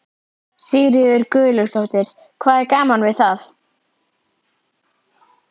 Þetta er alveg svipurinn hans Óla þegar hann var nýfæddur.